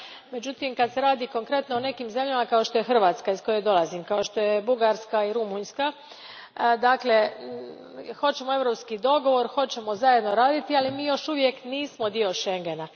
Međutim, kada se radi konkretno o nekim zemljama, kao što je Hrvatska iz koje dolazim, kao što su Bugarska i Rumunjska, mi hoćemo europski dogovor, hoćemo zajedno raditi, ali još nismo dio Schengena.